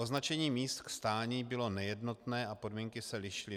Označení míst k stání bylo nejednotné a podmínky se lišily.